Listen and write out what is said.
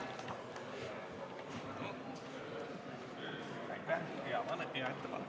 Aitäh!